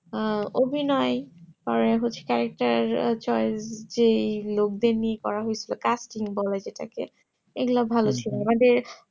আহ অভিনয় পরে হচ্ছে character choice যেই লোক দিয়ে নিয়ে করা হৈছে casting film বলে যেটাকে